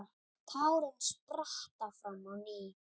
Tárin spretta fram á ný.